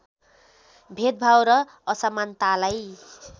भेदभाव र असमानतालाई